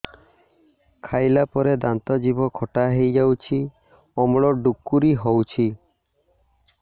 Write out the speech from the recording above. ଖାଇଲା ପରେ ଦାନ୍ତ ଜିଭ ଖଟା ହେଇଯାଉଛି ଅମ୍ଳ ଡ଼ୁକରି ହଉଛି